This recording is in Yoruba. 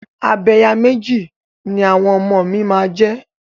Abẹ̀yàméjì ni àwọn ọmọ mi máa jẹ.